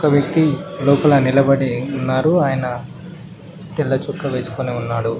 వ్యక్తీ లోపల నిలబడి ఉన్నారు ఆయన తెల్లచొక్కా వేసుకొని ఉన్నాడు.